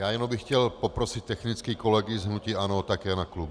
Já jenom bych chtěl poprosit technicky kolegy z hnutí ANO také na klub.